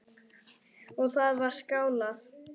Og það var skálað.